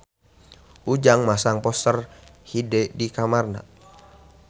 Ujang masang poster Hyde di kamarna